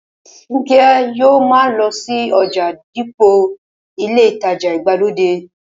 Fúnkẹ́ yóò ma lọ sí ọjà dípò ilé ìtajà ìgbàlódé